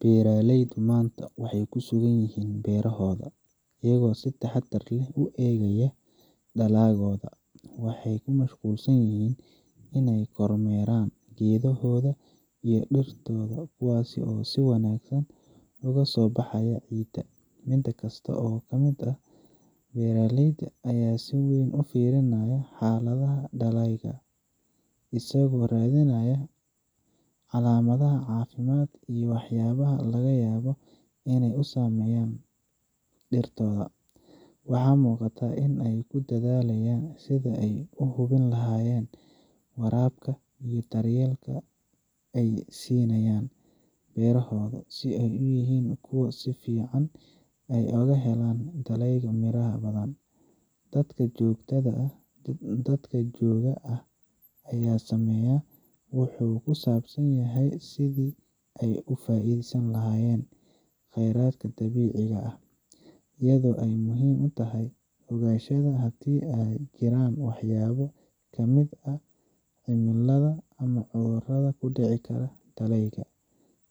Beeraleyda maanta waxay ku sugan yihiin beerahooda, iyagoo si taxaddar leh u eegaya dalagyadooda. Waxay ku mashquulsan yihiin inay kormeeraan geedahooda iyo dhirtooda, kuwaas oo si wanaagsan uga soo baxaya ciidda. Mid kasta oo ka mid ah beeraleyda ayaa si weyn u fiiriyey xaaladda dalagyada, isagoo raadinaya calaamadaha caafimaad iyo waxyaabaha laga yaabo inay saameyn dhirtoda. Waxaa muuqata in ay ku dadaalayaan sidii ay u hubin lahaayeen in waraabka iyo daryeelka ay siinayaan beerahoodu ay yihiin kuwo ku filan si ay u helaan dalagyo miro badan. Dadaalka joogtada ah ee ay sameeyaan wuxuu ku saabsan yahay sidii ay uga faa’iideysan lahaayeen kheyraadka dabiiciga ah, iyadoo ay muhiim tahay inay ogaadaan haddii ay jiraan waxyaabo ka imaan kara cimilada ama cudurrada ka dhici kara dalagyada.